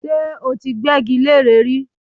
Ṣé ó ti gbẹ́gi leré rí?